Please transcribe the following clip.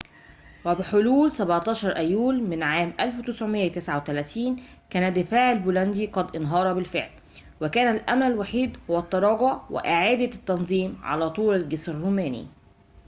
وبحلول 17 أيلول من عام 1939 كان الدفاع البولندي قد انهار بالفعل وكان الأمل الوحيد هو التراجع وإعادة التنظيم على طول الجسر الروماني